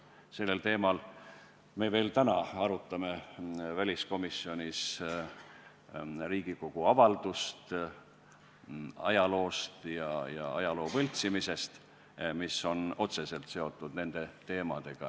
Sel teemal arutame me täna väliskomisjonis Riigikogu avaldust ajaloost ja ajaloo võltsimisest, mis on nende teemadega otseselt seotud.